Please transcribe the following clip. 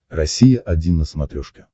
россия один на смотрешке